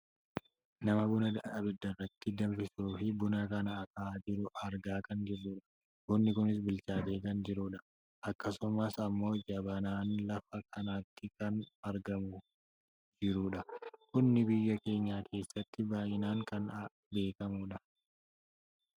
Nama buna abidda irratti danfisuuf buna kana akaahaa jiru argaa kan jirudha. Bunni kunis bichaateekan jirudha. Akkasumas ammoo jabanaanis lafa kanatti kan argamaa jirudha. Bunni biyya keenya keessatti bal'inaan kan beekkamudha.